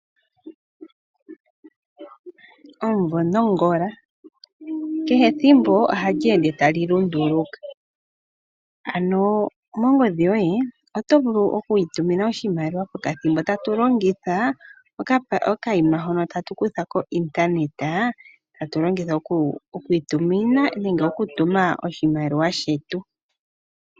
Omumvo nongola, kehe ethimbo ohali ende tali lunduluka, ano mongodhi yoye oto vulu oku itumina oshimaliwa pokathimbo, tatu longitha okayima hono tatu kutha ko intaneta, tatu longitha oku itumina nenge okutuma oshimaliwa shetu.